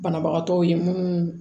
Banabagatɔw ye munnu